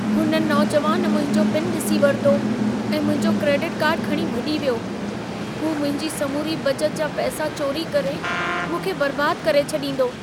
हुन नौजवान मुंहिंजो पिन ॾिसी वरितो ऐं मुंहिंजो क्रेडिट कार्ड खणी भॼी वियो। हू मुंहिंजी समूरी बचत जा पैसा चोरी करे मूंखे बर्बाद करे छॾींदो।